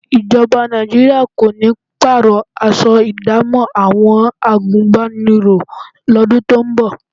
Ìjọba Nàìjíríà kò ní pààrọ̀ aṣọ ìdámọ̀ àwọn àgùnbánirọ̀ lọ́dún tó ń bọ̀